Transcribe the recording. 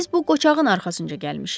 Biz bu qocağın arxasınca gəlmişik.